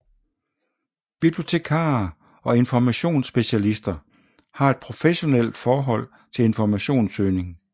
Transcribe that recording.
Bibliotekarer og informationsspecialister har et professionalt forhold til informationssøgning